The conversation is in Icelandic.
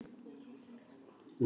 Nei, ég er hræddur um ekki.